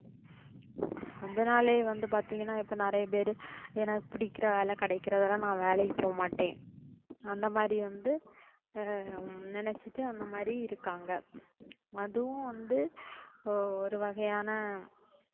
அதனாலேயே வந்து பாத்தீங்கன்னா இப்போ நிறைய பேர் எனக்கு பிடிக்கற வேலை கிடைக்குறவரை நான் வேலைக்கு போகமாட்டேன் அந்த மாதிரி வந்து ஹம் நினைச்சிட்டு அந்த மாதிரி இருக்காங்க. அதுவும் வந்து இப்போ ஒரு வகையான